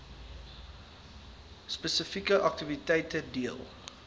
spesifieke aktiwiteite deel